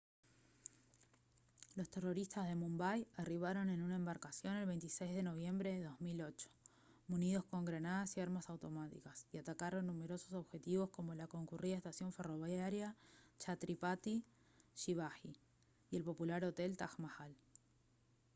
los terroristas de mumbai arribaron en una embarcación el 26 de noviembre de 2008 munidos con granadas y armas automáticas y atacaron numerosos objetivos como la concurrida estación ferroviaria chhatrapati schivaji y el popular hotel taj mahal